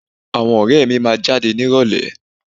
Àwọn ọ̀rẹ́ mi máa jáde nírọ̀lẹ́